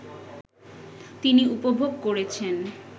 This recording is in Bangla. তিনি উপভোগ করেছেন